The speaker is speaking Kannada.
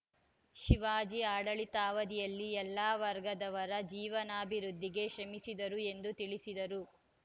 ಶಿವಾಜಿ ಆಡಳಿತಾವಧಿಯಲ್ಲಿ ಎಲ್ಲ ವರ್ಗದವರ ಜೀವಾನಾಭಿವೃದ್ಧಿಗೆ ಶ್ರಮಿಸಿದ್ದರು ಎಂದು ತಿಳಿಸಿದರು